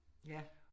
Ja